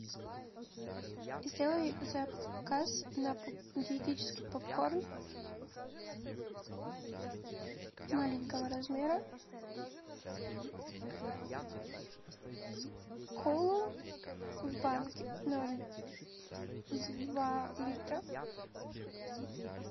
сделай заказ на диетический попкорн маленького размера колу в банке ноль два литра